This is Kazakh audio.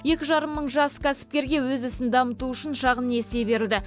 екі жарым мың жас кәсіпкерге өз ісін дамыту үшін шағын несие берілді